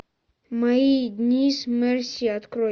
мои дни с мерси открой